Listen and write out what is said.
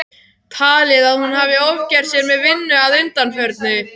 Talið að hún hafi ofgert sér með vinnu að undanförnu.